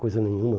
Coisa nenhuma.